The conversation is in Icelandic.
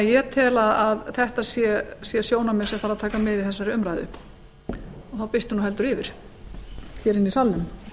ég tel að þetta sé sjónarmið sem þarf að taka með í þessari umræðu og þá birtir heldur yfir í salnum